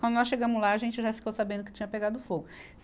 Quando nós chegamos lá, a gente já ficou sabendo que tinha pegado fogo.